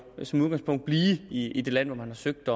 som udgangspunkt blive i det land hvor man har søgt